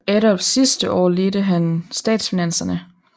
Adolfs sidste år ledte han statsfinanserne